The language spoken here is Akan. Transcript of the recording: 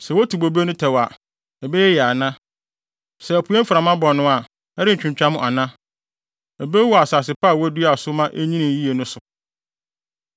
Sɛ wotu bobe no tɛw a, ɛbɛyɛ yiye ana? Sɛ apuei mframa bɔ no a, ɛrentwintwam ana? Ebewu wɔ asase pa a woduaa wɔ so ma enyinii yiye no so.’ ”